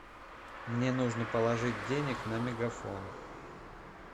мне нужно положить денег на мегафон